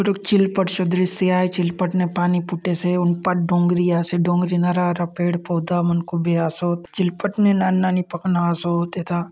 रुख चिलपट चो दृश्य आय चिलपट ने पानी फुटेसे हुन पाट डोंगरी आसे डोंगरी ने हरा - भरा पेड़ पौधा मन खूबे आसोत चिलपट ने नानी - नानी पखना आसोत एथा --